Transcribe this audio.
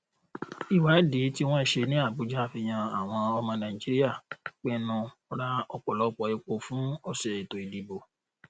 ìwádìí tí wọn ṣe ní abuja fihàn àwọn ọmọ nàìjíríà pinnu ra ọpọlọpọ epo fún ọsẹ ètò ìdìbò